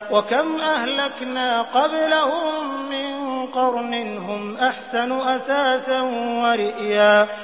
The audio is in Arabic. وَكَمْ أَهْلَكْنَا قَبْلَهُم مِّن قَرْنٍ هُمْ أَحْسَنُ أَثَاثًا وَرِئْيًا